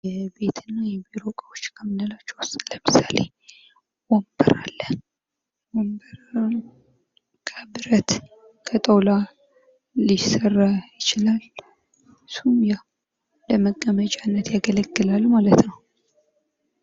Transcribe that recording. የቤት እኔ የቢሮ እቃዎች ከምንላቸዉ ዉስጥ ለምሳሌ ወንበር አለ። ወንበር ከብረት ከጣዉላ ሊሰራ ይችላል። እሱም ለመቀመጫነት ያገለግላል ማለት ነዉ።